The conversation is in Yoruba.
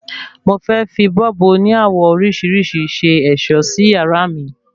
Mo fẹ́ fi bọ́ọ̀bù oní àwọ̀ oríṣìíríṣìí ṣe ẹ̀ṣọ́ sí yàrá mi